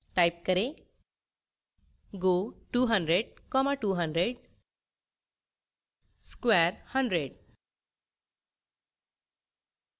type करें